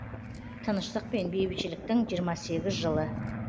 тыныштық пен бейбітшіліктің жиырма сегіз жылы